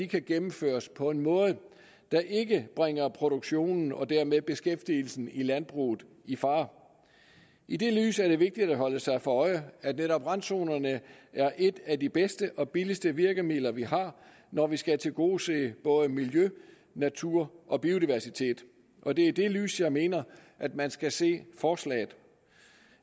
kan gennemføres på en måde der ikke bringer produktionen og dermed beskæftigelsen i landbruget i fare i det lys er det vigtigt at holde sig for øje at netop randzonerne er et af de bedste og billigste virkemidler vi har når vi skal tilgodese både miljø natur og biodiversitet og det er i det lys jeg mener at man skal se forslaget